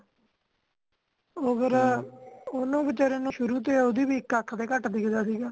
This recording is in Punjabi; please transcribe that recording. ਉਹ ਫੇਰ ਓਹਨੂੰ ਵਿਚਾਰੇ ਨੂੰ ਸ਼ੁਰੂ ਤੋਂ ਉਹਦੀ ਵੀ ਇਕ ਅੱਖ ਤੋਂ ਘਟ ਦਿਖਦਾ ਸੀਗਾ